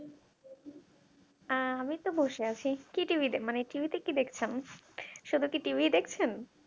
আহ আমি তো বসে আছি কি TV দে মানে TV তে কি দেখছেন শুধু কি TV দেখছেন?